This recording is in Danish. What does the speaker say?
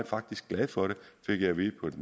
faktisk glad for det fik jeg at vide på